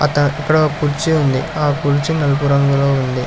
త ఇక్కడ ఒక కుర్చీ ఉంది ఆ కుర్చీ నలుపు రంగులో ఉంది.